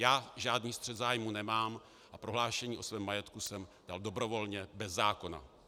Já žádný střet zájmů nemám a prohlášení o svém majetku jsem dal dobrovolně, bez zákona.